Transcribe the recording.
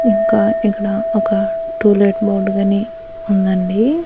ఇంకా ఇకడా ఒక టూలేట్ బోర్డ్ గనీ ఉందండి.